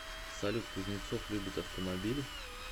салют кузнецов любит автомобили